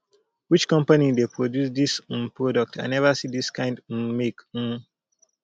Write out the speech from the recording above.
which company dey produce this um product i never see this kind um make um